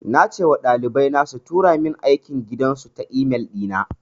Na ce ma ɗalibai na su tura min aikin gidan su ta e-mail ɗi na.